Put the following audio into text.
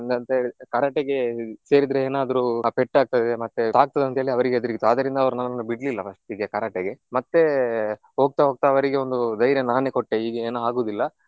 ಎಂತ ಅಂತ ಹೇಳಿದ್ರೆ Karate ಗೆ ಸೇರಿದರೆ ಏನಾದ್ರೂ ಪೆಟ್ಟಾಗ್ತದೆ ಮತ್ತೆ ತಾಗ್ತದಂತ ಹೇಳಿ ಅವರಿಗೆ ಹೆದ್ರಿಕೆ ಇತ್ತು ಆದ್ರಿಂದ ಅವರು ನನ್ನನ್ನು ಬಿಡ್ಲಿಲ್ಲ first ಇಗೆ Karate ಗೆ. ಮತ್ತೆ ಹೋಗ್ತಾ ಹೋಗ್ತಾ ಅವರಿಗೆ ಒಂದು ಧೈರ್ಯ ನಾನೇ ಕೊಟ್ಟೆ ಹೀಗೆ ಏನು ಆಗುದಿಲ್ಲ.